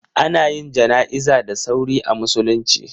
Ana yin jana'iza da sauri a musulunci.